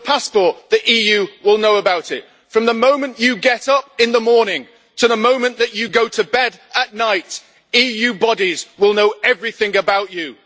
Your passport, the EU will know about it. From the moment you get up in the morning to the moment that you go to bed at night, EU bodies will know everything about you.